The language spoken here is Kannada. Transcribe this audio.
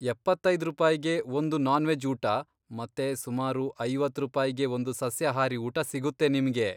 ಎಪ್ಪತ್ತೈದ್ ರೂಪಾಯಿಗೆ ಒಂದು ನಾನ್ ವೆಜ್ ಊಟ ಮತ್ತೆ ಸುಮಾರು ಐವತ್ತ್ ರೂಪಾಯಿಗೆ ಒಂದು ಸಸ್ಯಾಹಾರಿ ಊಟ ಸಿಗುತ್ತೆ ನಿಮ್ಗೆ.